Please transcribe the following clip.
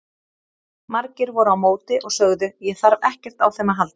Margir voru á móti og sögðu: Ég þarf ekkert á þeim að halda.